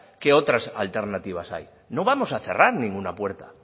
qué otras alternativas hay no vamos a cerrar ninguna puerta